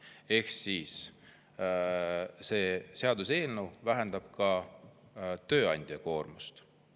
Ehk siis see seaduseelnõu vähendab tööandja koormust.